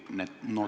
Jah, aitäh teile!